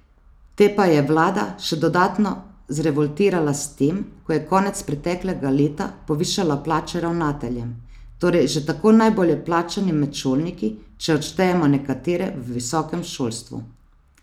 Te pa je vlada še dodatno zrevoltirala s tem, ko je konec preteklega leta povišala plače ravnateljem, torej že tako najbolje plačanim med šolniki, če odštejemo nekatere v visokem šolstvu.